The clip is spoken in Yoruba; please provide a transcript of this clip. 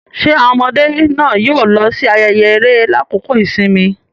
Ṣe awọn ọmọde náà yóò lọ si ààyè eré lakoko ìsinmi?